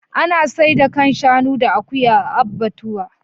Ana saida kan shanu da akuya a abbatuwa.